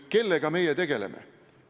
Kellega meie tegeleme?